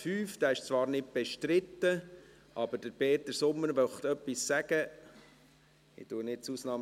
5 BauG. Dieser ist zwar nicht bestritten, aber Peter Sommer möchte etwas sagen.